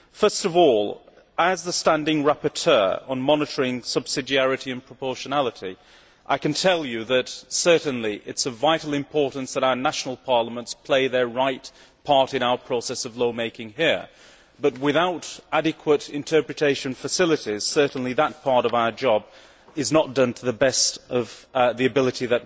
First of all, as the standing rapporteur on monitoring subsidiarity and proportionality, I can tell you that it is certainly of vital importance that our national parliaments play their right part in our process of lawmaking here, but without adequate interpretation facilities, that part of our job is not done to the best of our abilities.